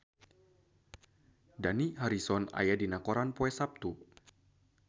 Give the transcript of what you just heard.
Dani Harrison aya dina koran poe Saptu